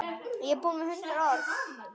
Og skip kjóll var nefnt.